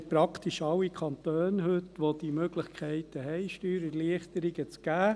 Praktisch alle Kantone haben heute die Möglichkeit, Steuererleichterungen zu geben.